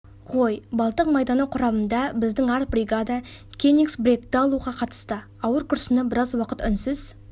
ғой балтық майданы құрамында біздің арт бригада кенигсбергті алуға қатысты ауыр күрсініп біраз уақыт үнсіз